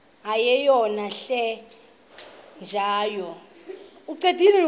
yeyom hle kanyawo